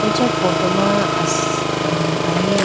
acha photo ma asii a ahi.